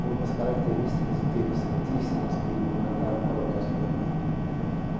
por umas características interessantíssimas que me marcaram para o resto da vida.